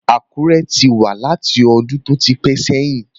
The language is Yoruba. Àkúré ti wà láti ọdún tó ti pẹ́ sẹ́yìn